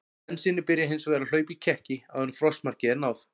Bensínið byrjar hins vegar að hlaupa í kekki áður en frostmarki er náð.